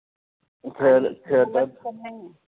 घर घरात